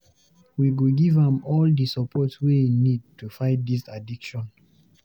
We go giv am all di support wey e need to fight dis addiction